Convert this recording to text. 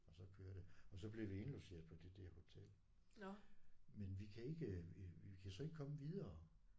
Og så kører det og så bliver vi indlogeret på det der hotel men vi kan ikke vi kan så ikke komme videre